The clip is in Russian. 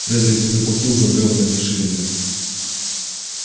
фредерик не заплатил за бревна ни шиллинга